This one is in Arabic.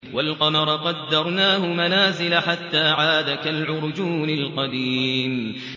وَالْقَمَرَ قَدَّرْنَاهُ مَنَازِلَ حَتَّىٰ عَادَ كَالْعُرْجُونِ الْقَدِيمِ